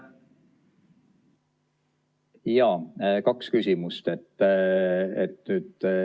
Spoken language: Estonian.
Jaa, kaks küsimust.